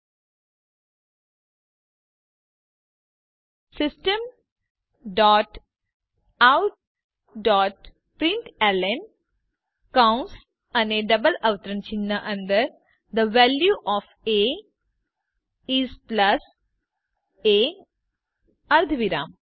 પછી ટાઇપ કરો system dot out dot println કૌંસ અને ડબલ અવતરણ ચિહ્ન અંદર the value of a is plus a અર્ધવિરામ